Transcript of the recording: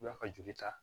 U b'a ka joli ta